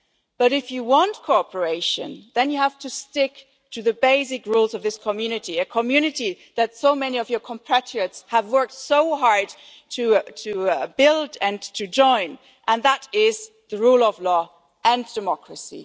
allies. But if you want cooperation, Prime Minister, then you have to stick to the basic rules of this Community, a Community that so many of your compatriots have worked so hard to build and to join and that means the rule of law and democracy.